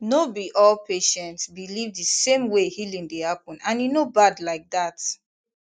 no be all patients believe the same way healing dey happen and e no bad like that